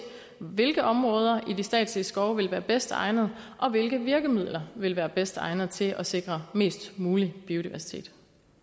hvilke områder i de statslige skove der vil være bedst egnet og hvilke virkemidler der vil være bedst egnet til at sikre mest mulig biodiversitet